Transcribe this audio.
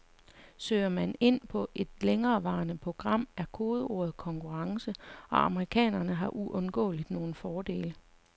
Søger man ind på et længerevarende program, er kodeordet konkurrence, og amerikanere har uundgåeligt nogle fordele.